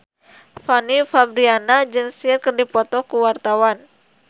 Fanny Fabriana jeung Cher keur dipoto ku wartawan